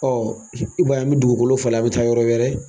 i ba ye an mi dugukolo falen a mi taa yɔrɔ wɛrɛ